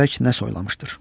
Görək nə soylamışdır.